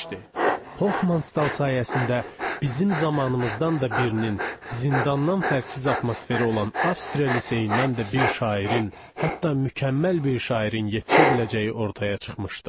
Hoffmanstal sayəsində bizim zamanımızdan da birinin zindandan fərqsiz atmosferi olan Avstriya liseyindən də bir şairin, hətta mükəmməl bir şairin yetişə biləcəyi ortaya çıxmışdı.